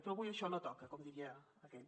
però avui això no toca com diria aquell